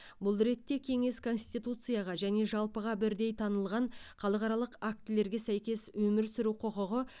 бұл ретте кеңес конституцияға және жалпыға бірдей танылған халықаралық актілерге сәйкес өмір сүру құқығы